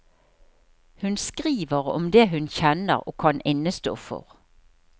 Hun skriver om det hun kjenner og kan innestå for.